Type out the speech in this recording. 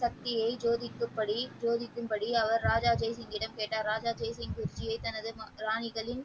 சக்தியை சோதிக்கும்படி சோதிக்கும்படி அவர் ராஜா ஜெய்சிங்கிடம் கேட்டார் ராஜா ஜெய்சிங் பற்றிய தனது ராணிகளின்